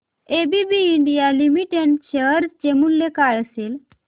ABB India limited share चे मूल्य काय असेल